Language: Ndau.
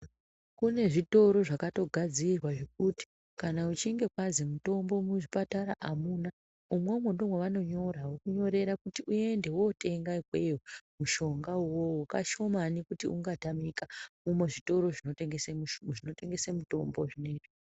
Kune zvitoro zvakatogadzirwa zvekuti kana uchinge kwazi mitombo muzvipatara amuna, imwomwo ndomwavanonyora. Vokunyorera kuti uende wotenga ikweyo mushonga uwowo. Kashomani kuti ungatamika muzvitoro zvinotengese zvinotengesa mutombo zvinezvi.